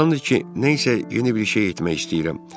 Çoxdandır ki, nə isə yeni bir şey etmək istəyirəm.